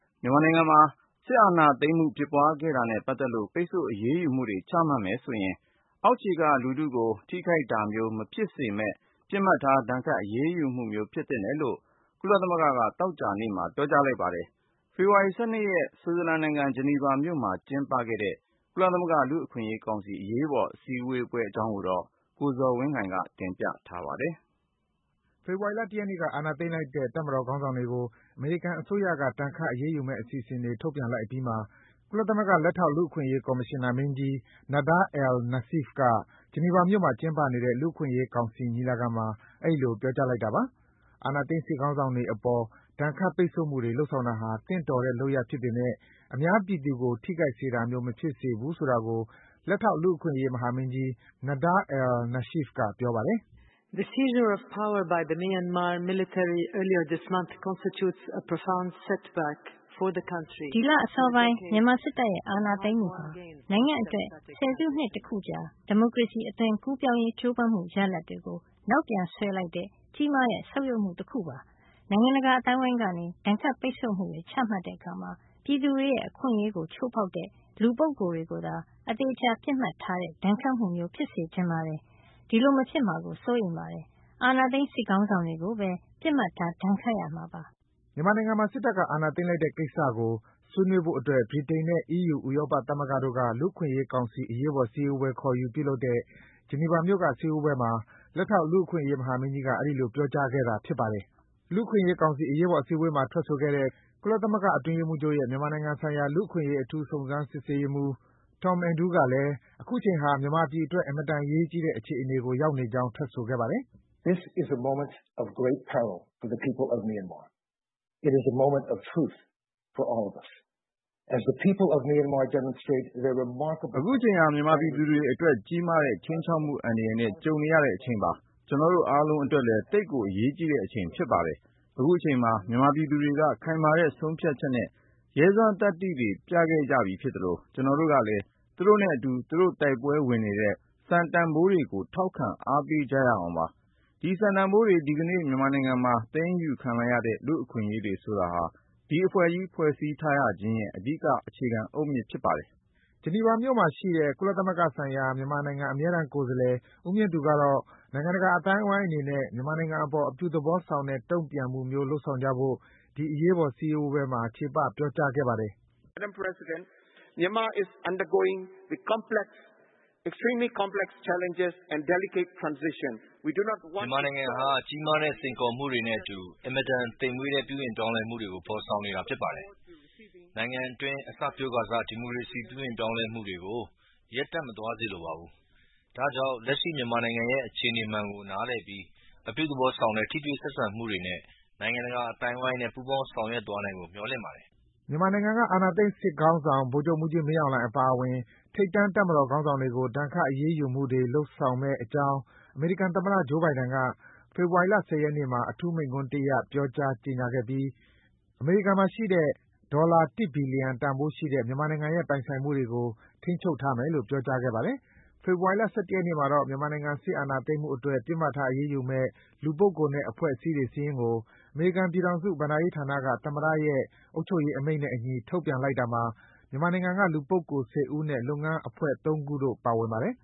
မြန်မာနိုင်ငံမှာ စစ်ဏာသိမ်းမှု ဖြစ်သွားခဲ့တာနဲ့ပတ်သက်လို့ ပိတ်ဆို့ အရေးယူမှုတွေ ချမှတ်မယ်ဆိုရင် အောက်ခြေက လူထုကို ထိခိုက်တာမျိုး မဖြစ်စေမယ့် ပစ်မှတ်ထား ဒဏ်ခတ် အရေးယူမှုမျိုး ဖြစ်သင့်တယ်လို့ ကုလသမဂ္ဂက သောကြာနေ့မှာ ပြောကြားလိုက်ပါတယ်။ ဖေဖော်ဝါရီလ ၁၂ ရက်နေ့က ဆွစ်ဇာလန်နိုင်ငံ၊ ဂျနီဗာမြို့မှာ ကျင်းပခဲ့တဲ့ ကုလသမဂ္ဂ လူ့အခွင့်အရေးကောင်စီ အရေးပေါ်စည်းဝေးပွဲအကြောင်းကိုတော့ ကိုဇော်ဝင်းလှိုင်က တင်ပြပေးထားပါတယ်။ ဖေဖော်ဝါရီလ ၁ ရက်နေ့က အာဏာသိမ်းလိုက်တဲ့ တပ်မတော်ခေါင်းဆောင်တွေကို အမေရိကန်အစိုးရက ဒဏ်ခတ် အရေးယူမယ့်အစီအစဉ်တွေ ထုတ်ပြန်လိုက်အပြီးမှာ ကုလသမဂ္ဂ လက်ထောက် လူ့အခွင့်အရေးကော်မရှင်နာမင်းကြီး Nada al-Nashif က ဂျနီဗာမြို့မှာ ကျင်းပနေတဲ့ လူ့အခွင့်အရေးကောင်စီ ညီလာခံမှာ အဲဒီလို ပြောကြားလိုက်တာပါ။ အာဏာသိမ်း စစ်ခေါင်းဆောင်တွေအပေါ် ဒဏ်ခတ် ပိတ်ဆို့မှုတွေ လုပ်ဆောင်တာဟာ သင့်တော်တဲ့ လုပ်ရပ်ဖြစ်ပေမယ့် အများပြည်သူကို ထိခိုက်စေတာမျိုး မဖြစ်သင့်ဘူးဆိုတာကို လက်ထောက် လူ့အခွင့်အရေးမဟာမင်းကြီး Nada al-Nashif က ပြောပါတယ်။ “ဒီလအစောပိုင်း မြန်မာစစ်တပ်ရဲ့ အာဏာသိမ်းမှုဟာ နိုင်ငံအတွက် ဆယ်စုနှစ်တခုကြာ ဒီမိုကရေစီ အသွင်ကူးပြောင်းရေး ကြိုးပမ်းမှု ရလဒ်တွေကို နောက်ပြန်ဆွဲလိုက်တဲ့ ကြီးမားတဲ့ ဆုတ်ယုတ်မှု တခုပါပဲ။ နိုင်ငံတကာအသိုင်းအဝိုင်းက ဒဏ်ခတ်ပိတ်ဆို့မှုေတွေ ချမှတ်တဲ့အခါ - ပြည်သူတွေရဲ့ အခွင့်အရေးကို ချိုးဖောက်တဲ့ လူပုဂ္ဂိုလ်တွေကိုသာ အသေအချာ ပစ်မှတ်ထားတဲ့ ဒဏ်ခတ်မှုမျိုး ဖြစ်စေချင်ပါတယ်။ အဲ့ဒီလို မဖြစ်မှာ စိုးရိမ်ပါတယ်။ အာဏာသိမ်း စစ်ခေါင်းဆောင်တွေကိုပဲ ပစ်မှတ်ထား ဒဏ်ခတ်ရမှာပါ။” မြန်မာနိုင်ငံမှာ စစ်တပ်က အာဏာသိမ်းလိုက်တဲ့ကိစ္စကို ဆွေးနွေးဖို့အတွက် ဗြိတိန်နဲ့ အီးယူ ဥရောပသမဂ္ဂတို့က လူ့အခွင့်အရေးကောင်စီ အရေးပေါ်စည်းဝေးပွဲ ခေါ်ယူပြုလုပ်တဲ့ ဂျနီဗာမြို့က စည်းဝေးပွဲမှာ လက်ထောက် လူ့အခွင့်အရေးမဟာမင်းကြီးက အဲဒီလို ပြောကြားခဲ့တာလည်း ဖြစ်ပါတယ်။ လူ့အခွင့်အရေးကောင်စီ အရေးပေါ် စည်းဝေးပွဲမှာ ထွက်ဆိုခဲ့တဲ့ ကုလသမဂ္ဂအတွင်းရေးမှူးချုပ်ရဲ့ မြန်မာနိုင်ငံဆိုင်ရာ လူ့အခွင့်အရေး အထူးစုံစမ်းရေးမှူး Tom Andrew ကလည်း အခုချိန်ဟာ မြန်မာပြည်အတွက် အင်မတန် အရေးကြီးတဲ့အခြေအနေကို ရောက်နေကြောင်း ထွက်ဆိုခဲ့ပါတယ်။ "အခုချိန်ဟာ မြန်မာပြည်သူတွေအတွက် ကြီးမားတဲ့ ခြိမ်းခြောက်မှု အန္တရာယ်နဲ့ ကြုံနေရတဲ့အချိန်ပါ။ ကျနော်တိုအားလုံး အတွက်လည်း သိပ်ကို အရေးကြီးတဲ့အချိန် ဖြစ်ပါတယ်။ အခုအချိန်မှာ မြန်မာပြည်သူတွေက ခိုင်မာတဲ့ ဆုံးဖြတ်ချက်နဲ့ ရဲစွမ်းသတ္တိတွေ ပြခဲ့ကြပြီးဖြစ်သလို၊ ကျနော်တို့ကလည်း သူတို့နဲ့အတူ သူတို့ တိုက်ပွဲဝင်နေတဲ့ စံတန်ဖိုးတွေကို ထောက်ခံ အားပေးကြရအောင်ပါ။ ဒီစံတန်ဖိုးတွေ၊ ဒီကနေ့ မြန်မာနိုင်ငံမှာ သိမ်းယူခံလိုက်ရတဲ့ လူ့အခွင့်အရေးတွေ ဆိုတာဟာ ဒီအဖွဲ့ကြီး ဖွဲ့စည်းထားရခြင်းရဲ့ အဓိက အခြေခံအုတ်မြစ်ပါ။” ဂျနီဗာမြို့မှာ ရှိတဲ့ ကုလသမဂ္ဂဆိုင်ရာ မြန်မာနိုင်ငံ အမြဲတမ်းကိုယ်စားလှယ် ဦးမြင့်သူကတော့ နိုင်ငံတကာအသိုင်းဝိုင်းအနေနဲ့ မြန်မာနိုင်ငံအပေါ် အပြုသဘောဆောင်တဲ့ တုံ့ပြန်မှုမျိုး လုပ်ဆောင်ကြဖို့ ဒီ အရေးပေါ် စည်းဝေးပွဲမှာ ချေပ ပြောကြားခဲ့ပါတယ်။ “မြန်မာနိုင်ငံဟာ ကြီးမားတဲ့ စိန်ခေါ်မှုတွေနဲ့အတူ အင်မတန်သိမ်မွေ့တဲ့ ပြုပြင်ပြောင်းလဲမှုတွေ ဖော်ဆောင်နေတာဖြစ်ပါတယ်။ နိုင်ငံအတွင်း အစပျိုးခါစ ဒီမိုကရေစီ ပြုပြင်ပြောင်းလဲမှုတွေကို ရပ်တန့်မသွားစေလိုပါဘူး။ ဒါကြောင့် လက်ရှိ မြန်မာနိုင်ငံရဲ့ အခြေအနေမှန်ကို နားလည်ပြီး အပြုသဘောဆောင်တဲ့ ထိတွေ့ဆက်ဆံမှုတွေနဲ့ နိုင်ငံတကာအသိုင်းအဝိုင်း နဲ့ ပူးပေါင်း ဆောင်ရွက်သွားနိုင်ဖို့ မျှော်လင့်ပါတယ်။” မြန်မာနိုင်ငံက အာဏာသိမ်း စစ်ခေါင်းဆောင် ဗိုလ်ချုပ်မှူးကြီး မင်းအောင်လှိုင်အပါအဝင် ထိပ်တန်း တပ်မတော်ခေါင်းဆောင်တွေကို ဒဏ်ခတ် အရေးယူမှုတွေ လုပ်ဆောင်မယ့်အကြောင်း အမေရိကန်သမ္မတ Joe Biden က ဖေဖော်ဝါရီလ ၁၀ ရက်နေ့မှာ အထူးမိန့်ခွန်းတရပ် ပြောကြား ကြေညာခဲ့ပြီး အမေရိကန်မှာရှိတဲ့ ဒေါ်လာ ၁ ဘီလီယံတန်ဖိုးရှိတဲ့ မြန်မာနိုင်ငံရဲ့ ပိုင်ဆိုင်မှုတွေကို ထိန်းချုပ်ထားမယ်လို့ ပြောကြားခဲ့ပါတယ်။ ဖေဖော်ဝါရီလ ၁၁ ရက်နေ့မှာတော့ မြန်မာနိုင်ငံ စစ်အာဏာသိမ်းမှုအတွက် ပစ်မှတ်ထားအရေးယူမယ့် လူပုဂ္ဂိုလ် နဲ့ အဖွဲ့အစည်းတွေစာရင်းကို အမေရိကန်ပြည်ထောင်စု ဘဏ္ဍာရေးဌာနက သမ္မတရဲ့ အုပ်ချုပ်ရေးအမိန့်နဲ့အညီ ထုတ်ပြန်လိုက်တာမှာ မြန်မာနိုင်ငံက လူပုဂ္ဂိုလ် (၁၀) ဦးနဲ့ လုပ်ငန်းအဖွဲ့ ၃ ခုတို့ ပါဝင်ပါတယ်